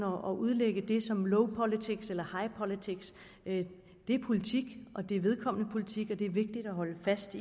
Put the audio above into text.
at udlægge det som low politics eller high politics det er politik det er vedkommende politik og det er vigtigt at holde fast